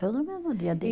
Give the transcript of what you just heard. Tudo no mesmo dia.